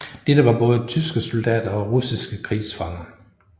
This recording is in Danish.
Dette var både tyske soldater og russiske krigsfanger